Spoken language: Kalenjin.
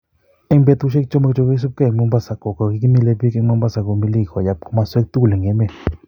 En petusiek somok che koisip ke en Mombasa Kogigimile pig en Mombasa komilik koyap komoswek tugul en Emet.